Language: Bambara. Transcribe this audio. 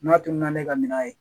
N'a tununa ne ka minan ye